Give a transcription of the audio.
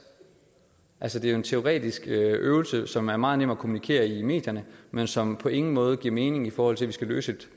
altså det er en teoretisk øvelse som er meget nem at kommunikere i medierne men som på ingen måde giver mening i forhold til vi skal løse et